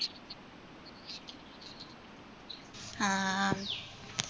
ആ